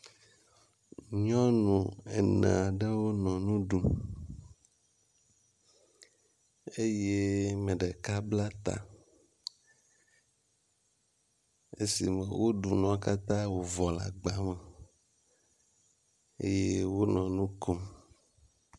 Nyɔnu ene aɖewo nɔ nu ɖum eye ame ɖeka bla ta, esi woɖu nua katã le agba me eye wonɔ nu kom.